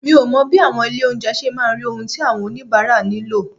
Mi ò mọ bí àwọn ilé ìjẹun ṣe máa rí ohun tí àwọn oníbàárà nílò.